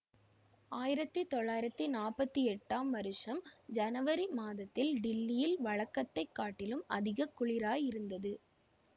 ஆயிரத்தி தொள்ளாயிரத்தி நாற்பத்தி எட்டாம் வருஷம் ஜனவரி மாதத்தில் டில்லியில் வழக்கத்தைக் காட்டிலும் அதிக குளிராயிருந்தது